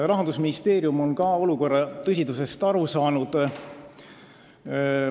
Rahandusministeerium on ka olukorra tõsidusest aru saanud.